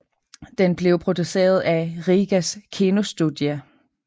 Den blev produceret af Rīgas kinostudija